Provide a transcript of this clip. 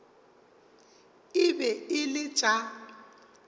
e be e le tša